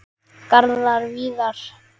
Garðar Víðir.